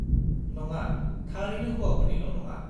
-नङा, थारैनो हौवाफोरनिल' नङा।